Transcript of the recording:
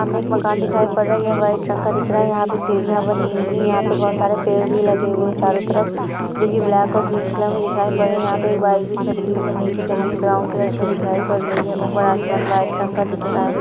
सामने एक मकान दिखाई पड़ रहा है जो वाइट रंग का है| यहां पर सीढ़ियां बनी हुई है| यहां पर बहुत सारे पेड़ भी लगे हुए हैं| चारों तरफ जो की ब्लैक और ग्रीन कलर में दिखाई दे रहे हैं| यहां पर एक बाइक भी खड़ी हुई है| नीचे जमीन ब्राउन कलर की दिखाई पड़ रही है और आसमान वाइट रंग का दिख रहा है।